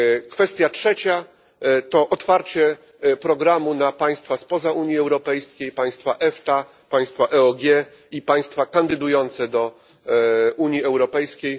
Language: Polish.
Kwestia trzecia to otwarcie programu na państwa spoza Unii Europejskiej, państwa EFTA, państwa EOG i państwa kandydujące do Unii Europejskiej.